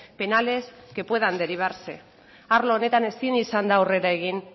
penales que puedan derivarse arlo honetan ezin izan da aurrera egin